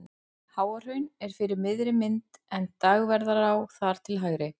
Háahraun er fyrir miðri mynd en Dagverðará þar til hægri.